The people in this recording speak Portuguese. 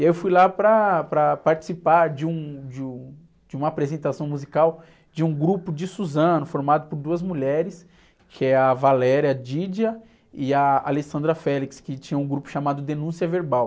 E aí eu fui lá para, para participar de um, de um, de uma apresentação musical de um grupo de Suzano, formado por duas mulheres, que é a e a, que tinham um grupo chamado Denúncia Verbal.